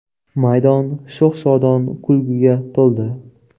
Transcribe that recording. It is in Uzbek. Maydon sho‘x-shodon kulguga to‘ldi.